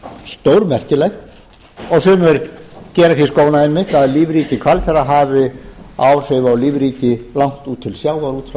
stórmerkilegt og sumir gera því skóna einmitt að lífríki hvalfjarðar hafi áhrif á lífríki langt út til sjávar út frá